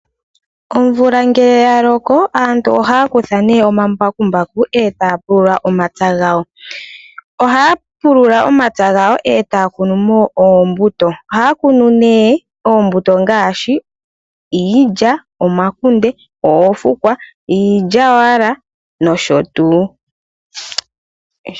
Omvula ngele yaloko aantu oha ya kutha omabakumbaku eta yapulula omapya gawo. Oha ya pulula omapya gawo eta ya kunumo oombuto ngaashi iilya, omakunde, oofukwa niilya Wala nosho tuu.